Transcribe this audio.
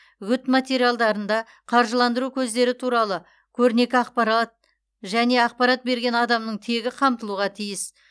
үгіт материалдарында қаржыландыру көздері туралы көрнекі ақпарат және ақпарат берген адамның тегі қамтылуға тиіс